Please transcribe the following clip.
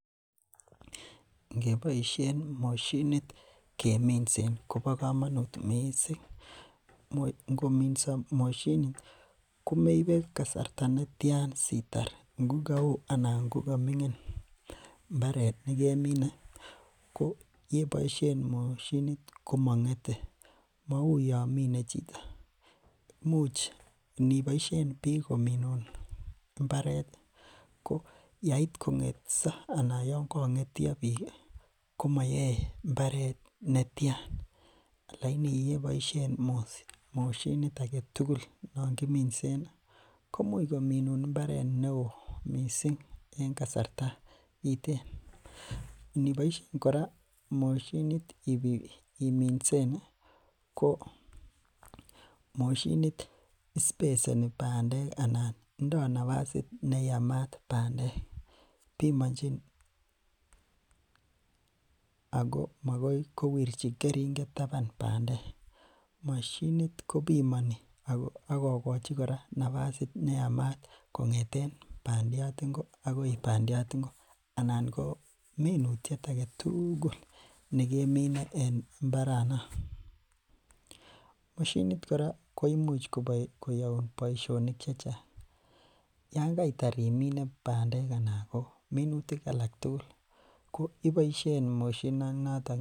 Ngeboishen moshinit keminsen kobokomonut mising, ngominso moshinit komeibe kasarta netian sitar ngo kaoo anan ngo ko mingin mbaret nekemine ko yekeboishen moshinit ko mongete, mouu yoon mine chito, imuch iniboishen biik kominun imbaret ko yeit kengotso anan yoon kongetyo biik komoyoe mbaret netian lakini yeboshen moshinit aketukul non kiminsen komuch kominun mbaret neo mising en kasarta kiten, indiboishen kora moshinit iminsen ko moshinit speseni bandek anan ndo nabasit neyamat bandek, bimonjin ako makai kowirchi keringet taban bandek, moshinit kobimoni ak kokochi kora nabasit neyamat kongeten bandiat ingo akoi bandiat ingo anan ko minutiet aketukul nekemine en mbaranan, moshinit kora koimuch koyoun boishonik chechang, yoon kaitar imine bandek anan ko minutik alak tukul iboishen moshini noton.